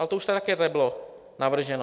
Ale to už tady také bylo navrženo.